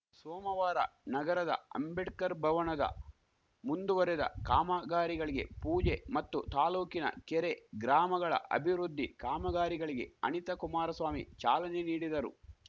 ಸೋಮವಾರ ನಗರದ ಅಂಬೇಡ್ಕರ್‌ ಭವಣದ ಮುಂದುವರೆದ ಕಾಮಗಾರಿಗಳಿಗೆ ಪೂಜೆ ಮತ್ತು ತಾಲೂಕಿನ ಕೆರೆ ಗ್ರಾಮಗಳ ಅಭಿವೃದ್ಧಿ ಕಾಮಗಾರಿಗಳಿಗೆ ಅಣಿತಾ ಕುಮಾರಸ್ವಾಮಿ ಚಾಲನೆ ನೀಡಿದರು